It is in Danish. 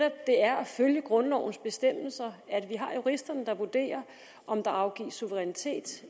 det er at følge grundlovens bestemmelser at vi har juristerne der vurderer om der afgives suverænitet